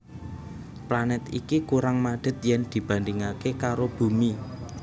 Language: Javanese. Planèt iki kurang madhet yen dibandhingaké karo Bumi